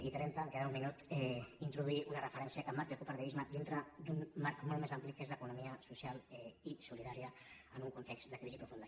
i trenta em queda un minut introduir una referència que emmarqui el cooperativisme dintre d’un marc molt més ampli que és l’economia social i solidària en un context de crisi profunda